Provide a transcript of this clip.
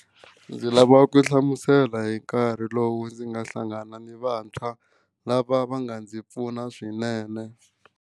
Ndzi lava ku hlamusela hi nkarhi lowu ndzi nga hlangana ni vantshwa lava va nga ndzi pfuna swinene.